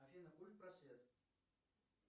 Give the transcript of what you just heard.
афина культпросвет